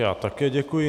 Já také děkuji.